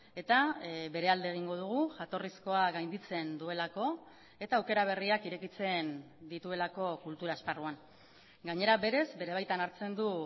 eta bere alde egingo dugu jatorrizkoa gainditzen duelako eta aukera berriak irekitzen dituelako kultura esparruan gainera berez bere baitan hartzen du